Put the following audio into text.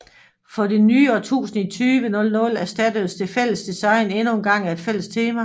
For det nye årtusinde i 2000 erstattedes det fælles design endnu engang af et fælles tema